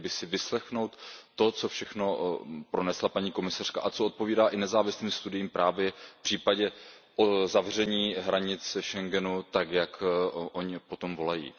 Měli by si vyslechnout to, co všechno pronesla paní komisařka a co odpovídá i nezávislým studiím právě v případě zavření hranic Schengenu tak, jak oni po tom volají.